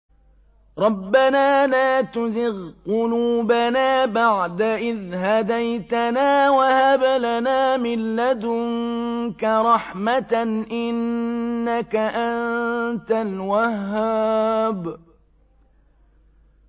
رَبَّنَا لَا تُزِغْ قُلُوبَنَا بَعْدَ إِذْ هَدَيْتَنَا وَهَبْ لَنَا مِن لَّدُنكَ رَحْمَةً ۚ إِنَّكَ أَنتَ الْوَهَّابُ